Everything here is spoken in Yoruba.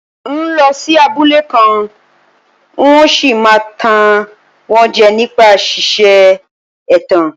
N óo lọ sí abúlé kan, n óo sì máa tàn wọ́n jẹ nípa ṣíṣe ẹ̀tàn.